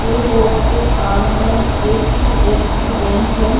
ये रोड के सामने H D F C bank है।